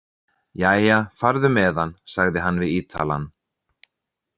Jæja, farðu með hann, sagði hann við Ítalann.